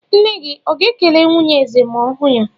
Nne gị ọ̀ ga-ekele nwunye eze ma ọ hụ ya?